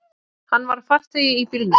Hann var farþegi í bílnum.